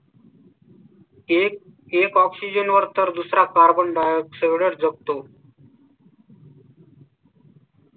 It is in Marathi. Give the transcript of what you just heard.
एक एक oxygen वर तर दुसरा तर carbon dioxide शकतो.